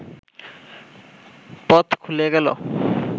পথ খুলে গেল